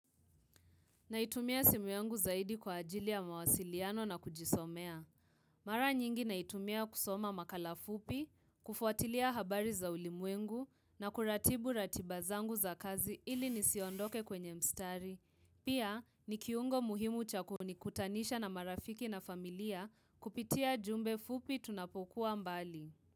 Naitumia simu yangu zaidi kwa ajili ya mawasiliano na kujisomea. Mara nyingi naitumia kusoma makala fupi, kufuatilia habari za ulimwengu na kuratibu ratiba zangu za kazi ili nisiondoke kwenye mstari. Pia, ni kiungo muhimu cha kunikutanisha na marafiki na familia kupitia jumbe fupi tunapokuwa mbali.